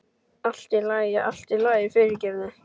Allt í lagi, allt í lagi, fyrirgefðu.